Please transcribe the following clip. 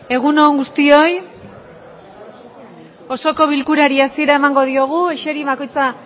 egun on guztioi osoko bilkurari hasiera emango diogu eseri